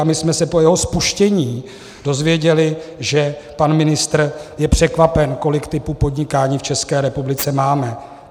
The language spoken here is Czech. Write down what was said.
A my jsme se po jeho spuštění dozvěděli, že pan ministr je překvapen, kolik typů podnikání v České republice máme.